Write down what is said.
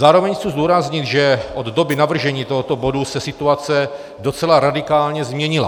Zároveň chci zdůraznit, že od doby navržení tohoto bodu se situace docela radikálně změnila.